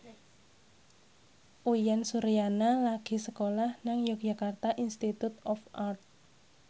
Uyan Suryana lagi sekolah nang Yogyakarta Institute of Art